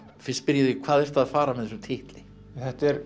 fyrst spyr ég þig hvað ertu að fara með þessum titli þetta er